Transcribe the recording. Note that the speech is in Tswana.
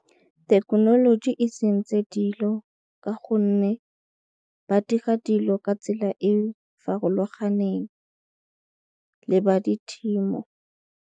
Thekenoloji e sentse dilo ka gonne ba dira dilo ka tsela e farologaneng le ba di .